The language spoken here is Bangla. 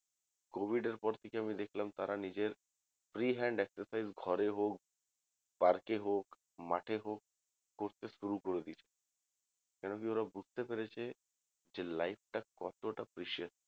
এই covid এর পর থেকে অমি দেখলাম তারা নিজের free hand exercise ঘরে হোক park এ হোক মাঠে হোক করতে শুরু করে দিয়েছে কেন কি ওরা বুঝতে পেরেছে যে life টা কতটা precious